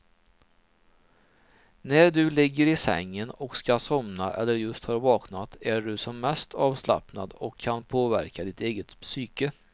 När du ligger i sängen och ska somna eller just har vaknat är du som mest avslappnad och kan påverka ditt eget psyke.